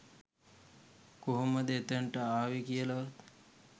කොහොමද එතනට ආවේ කියලවත්.